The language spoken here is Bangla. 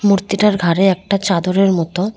মূর্তিটার ঘাড়ে একটা চাদরের মতো।